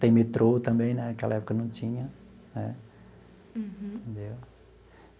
Tem metrô também né, naquela época não tinha né entendeu.